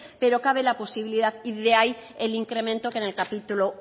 pero cabe la posibilidad y de ahí el incremento que en el capítulo